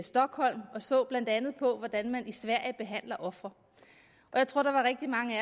stockholm og så blandt andet på hvordan man i sverige behandler ofre jeg tror der var rigtig mange